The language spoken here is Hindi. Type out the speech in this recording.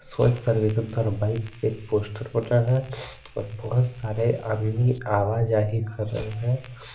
स्वच्छ सर्वेक्षण दो हज़ार बाईस का एक पोस्टर बना है और बहुत सारे आदमी आदमी भी आवा जाही कर रहे हैं।